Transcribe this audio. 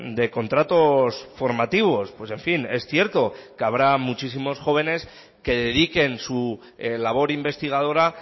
de contratos formativos pues en fin es cierto que habrá muchísimos jóvenes que dediquen su labor investigadora